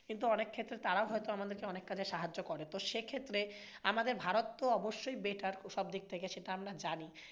কিন্তু অনেক ক্ষেত্রে তারাও হয়তো আমাদেরকে অনেক কাজে সাহায্য করে তো সে ক্ষেত্রে আমাদের ভারত তো অবশ্যই better সবদিক থেকে সেটা আমরা জানি।